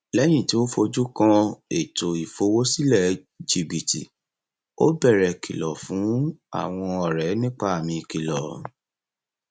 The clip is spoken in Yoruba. ilé ìtajà bútíkì tuntun nítòsí ń fúnni ní ìye owó ẹdínwó pàtàkì lórí àwọn aṣọ títà